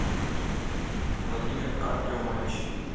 владимир артемович